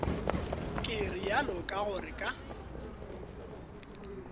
ke realo ka gore ka